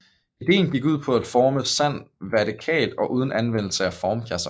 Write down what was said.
Ideen gik ud på at forme sand vertikalt og uden anvendelse af formkasser